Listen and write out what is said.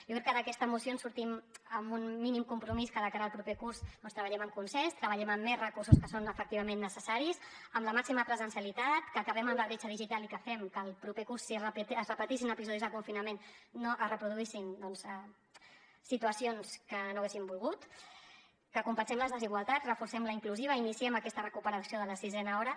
jo crec que d’aquesta moció en sortim amb un mínim compromís que de cara al proper curs doncs treballem amb consens treballem amb més recursos que són efectivament necessaris amb la màxima presencialitat que acabem amb la bretxa digital i que fem que el proper curs si es repetissin episodis de confinament no es reproduïssin doncs situacions que no hauríem volgut que compensem les desigualtats reforcem la inclusiva i iniciem aquesta recuperació de la sisena hora